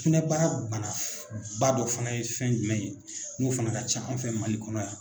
Sugunɛbara bana ba dɔ fana ye fɛn jumɛn ye n'o fana ka ca an fɛ Mali kɔnɔ yan